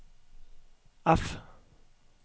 F